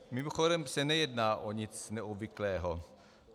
Mimochodem se nejedná o nic neobvyklého.